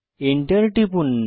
enter টিপুন